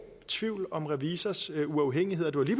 tvivl om revisors uafhængighed og det